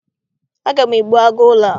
Aga m egbu agụ ụlọ a.